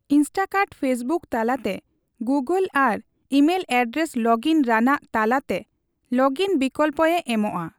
Instakart Facebook ᱛᱟᱞᱟᱛᱮ, Google ᱟᱨ email address login ᱨᱟᱱᱟᱜ ᱛᱟᱞᱟ ᱛᱮ ᱞᱚᱜᱤᱱ ᱵᱤᱠᱞᱚᱯ ᱮ ᱮᱢᱚᱜᱼᱟ ᱾